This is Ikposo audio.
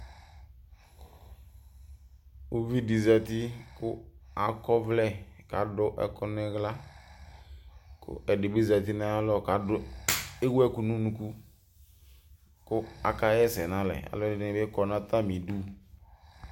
ʊʋɩɗɩ zatɩ ƙʊ aƙɔʋlɛ aɗʊ ɛƙʊ nʊ ɩhla ɛɗɩɓɩzatɩ nʊ aƴalɔ ewʊɛƙʊ nʊ ʊnʊƙa mɛ atanɩƙawla ɛsɛɗʊ ƙʊ alʊɛɗɩnɩɓɩ ƙɔnʊ atamɩɗʊ